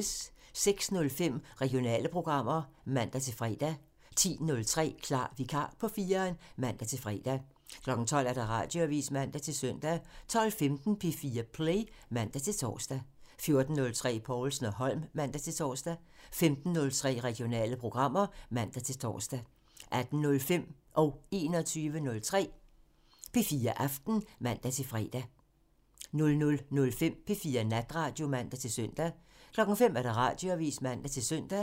06:05: Regionale programmer (man-fre) 10:03: Klar Vikar på 4'eren (man-fre) 12:00: Radioavisen (man-søn) 12:15: P4 Play (man-tor) 14:03: Povlsen & Holm (man-tor) 15:03: Regionale programmer (man-tor) 18:05: P4 Aften (man-fre) 21:03: P4 Aften (man-søn) 00:05: P4 Natradio (man-søn) 05:00: Radioavisen (man-søn)